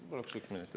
Ma paluksin lisaaega.